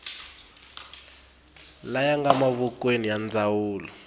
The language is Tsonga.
laya nga mavokweni ya ndzawulo